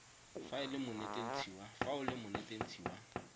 fa o le monetetshi wa